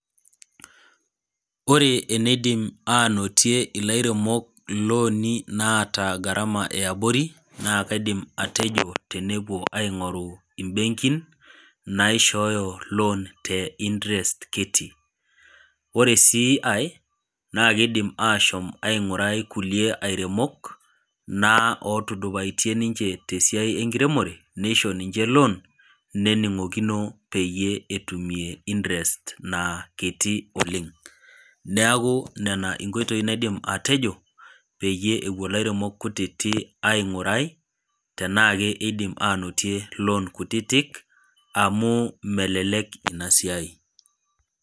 Ore eneidim ainotie ilairemok ilooni naata gharama e abori, aidim atejo nabo epuo aing'uraa imbenkin naishooyo loan te interest kiti. Ore sii aii, naa keidim ashom aingurai ilkulie airemok naa otudupaitie ninche te esiai enkiremore, neisho ninche loan nening'okino peyie etuumie interest na kiti oleng'. Neaku nena inkoitoi naidim atejo peyie ewuo ilairemok kutiiti aing'urai tanaake eidim ainotie loan kutitik a,mu melelek ina siai.